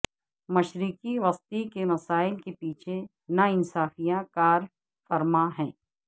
مشرق وسطی کے مسائل کے پیچھے نا انصافیاں کار فرما ہیں